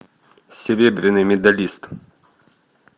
серебряный медалист